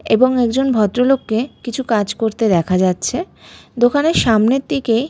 এবং একজন ভদ্রলোককে কিছু কাজ করতে দেখা যাচ্ছে দোকানের সামনের দিকে--